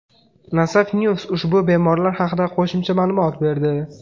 Nasaf News ushbu bemorlar haqida qo‘shimcha ma’lumot berdi .